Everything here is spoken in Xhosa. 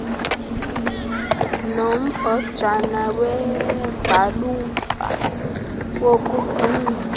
nombhojana wevalufa yokugungxula